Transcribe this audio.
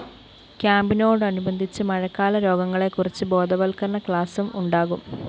ക്യാമ്പിനോടനുബന്ധിച്ച് മഴക്കാല രോഗങ്ങളെക്കുറിച്ച് ബോധവല്‍ക്കരണ ക്ലാസും ഉണ്ടാകും